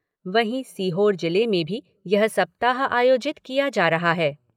वहीं सीहोर जिले में भी यह सप्ताह आयोजित किया जा रहा है।